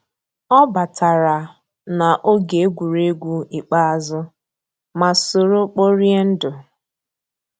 ọ batàrà n'ògé égwuégwu ikpéázụ́, má sòró kpòríé ndù.